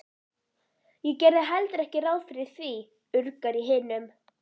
Ég gerði heldur ekki ráð fyrir því, urgar í hinum.